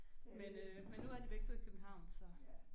Men øh men nu er de begge 2 i København så